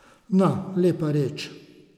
Na, lepa reč.